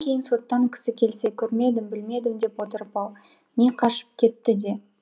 кейін соттан кісі келсе көрмедім білмедім деп отырып ал не қашып кетті де